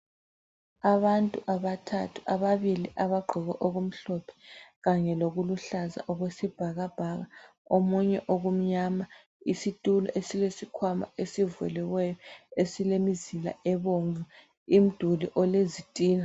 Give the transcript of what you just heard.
Abantu abathathu ababili abagqoke okumhlophe kanye lokuluhlaza okwesibhakabhaka omunye okumnyama isitulo esilesikhwama esivuliweyo esilemizila ebomvu imduli olezitina.